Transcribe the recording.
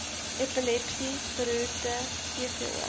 epilepsie beroerte cvo